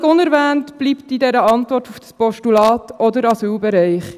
Völlig unerwähnt bleibt in der Antwort auf dieses Postulat auch der Asylbereich.